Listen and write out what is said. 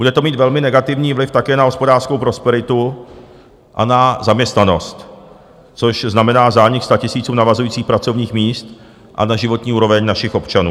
Bude to mít velmi negativní vliv také na hospodářskou prosperitu a na zaměstnanost, což znamená zánik statisíců navazujících pracovních míst, a na životní úroveň našich občanů.